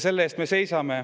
Selle eest me seisame.